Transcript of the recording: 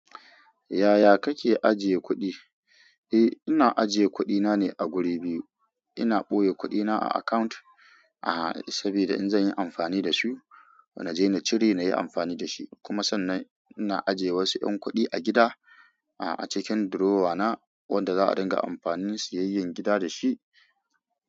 Yaya kake ajiye kuɗi? Eh, ina ajiye kuɗina ne a guri biyu. Ina ɓoye kuɗina a account, aha, sabida in zan yi amfani da su na je na cire na yi amfani da shi. Kuma sannan ina ajiye wasu ƴan kuɗi a gida, a cikin drawer na wanda za a dinga amfani siyayyen gida da shi.